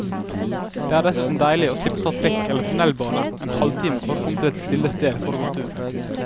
Det er dessuten deilig å slippe å ta trikk eller tunnelbane en halvtime for å komme til et stille sted for å gå tur.